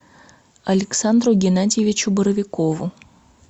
александру геннадьевичу боровикову